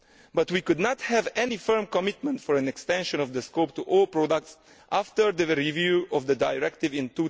But we could not have any firm commitment for an extension of the scope to all products after the review of the Directive in